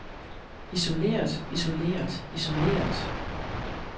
isoleret isoleret isoleret